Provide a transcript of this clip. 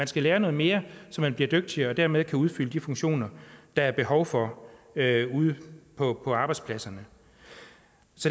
og lære noget mere så man bliver dygtigere og dermed kan udfylde de funktioner der er behov for ude på arbejdspladserne